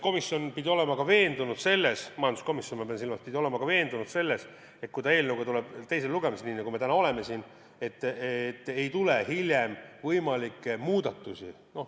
Komisjon pidi olema veendunud ka selles – ma pean silmas majanduskomisjoni –, et kui ta tuleb eelnõuga teisele lugemisele, nii nagu me täna siin oleme, et siis enam hiljem ei tuleks võimalikke muudatusi.